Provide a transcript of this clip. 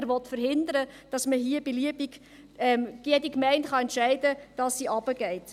Dieser will verhindern, dass man beliebig, dass jede Gemeinde entscheiden kann, ob sie hinuntergeht.